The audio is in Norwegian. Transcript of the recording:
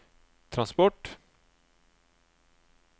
transport